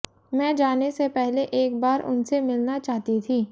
मैं जाने से पहले एक बार उनसे मिलना चाहती थी